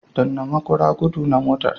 Danna maƙura gudu na motar.